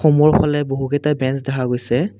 বহু কেইটা ব্রেঞ্চ দেখা গৈছে।